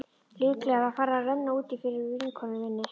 Líklega var farið að renna út í fyrir vinkonu minni.